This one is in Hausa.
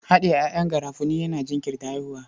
Haɗiye ƴaƴan garafuni yana jinkirta haihuwa.